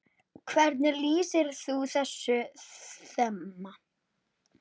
Hvernig lýsir þú þessu þema?